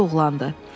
özü də oğlandı.